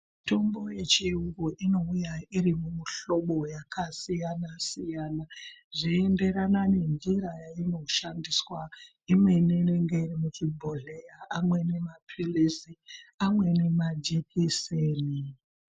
Mitombo yechirungu inouya iri mumihlobo yakasiyana siyana zveienderana nenjira yainoshandiswa imweni inenge iri muchibhohleya amweni mapirizi amweni majekiseni.